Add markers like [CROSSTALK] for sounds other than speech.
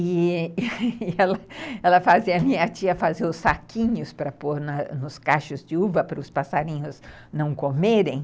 E [LAUGHS] ela fazia a minha tia fazia os saquinhos para pôr nos cachos de uva para os passarinhos não comerem.